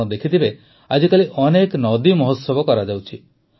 ଆପଣ ଦେଖିଥିବେ ଆଜିକାଲି ଅନେକ ନଦୀ ମହୋତ୍ସବ କରାଯାଉଛି